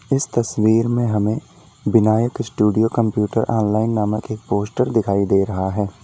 इस तस्वीर में हमें Vinayak studio computer online poster नजर आ रहा।